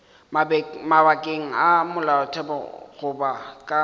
mabakeng a molaotheo goba ka